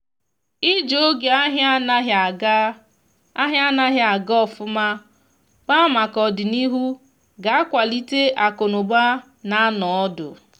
iji oge ahia anaghi aga ahia anaghi aga ofuma kpaa maka ọdịnihu ga akwalite akụ na ụba na anọ ọdụ